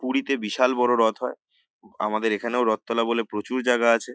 পুরীতে বিশাল বড় রথ হয় আমাদের এখানেও রথ তলা বলে প্রচুর জায়গা আছে।